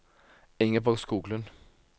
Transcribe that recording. Ingeborg Skoglund